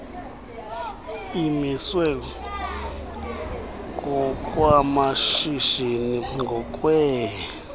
imiswe ngokwamashishini ngokwee